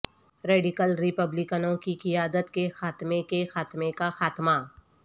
radical ریپبلکنوں کی قیادت کے خاتمے کے خاتمے کا خاتمہ